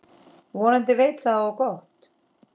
Vonandi veit það á gott.